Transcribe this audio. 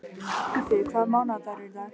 Guffi, hvaða mánaðardagur er í dag?